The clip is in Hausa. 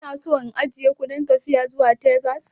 Kuna so in ajiye ku don tafiya zuwa Texas?